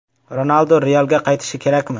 Ronaldu “Real”ga qaytishi kerakmi?